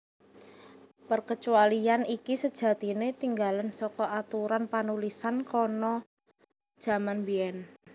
Perkecualian iki sejatine tinggalan saka aturan panulisan kana jaman biyen